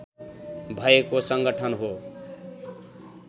भएको सङ्गठन हो